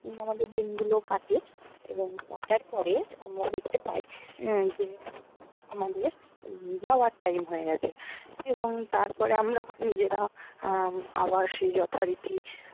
আমাদের দিনগুলো কাটে এবং কাটার পরে আমরা দেখ্তে পাই উম যে আমাদের যাওয়ার time হয়ে গেছে এবং তারপরে আমরা নিজেরা আহ আবার সেই যথারীতি